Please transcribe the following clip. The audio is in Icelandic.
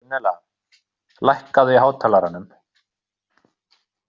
Gunnella, lækkaðu í hátalaranum.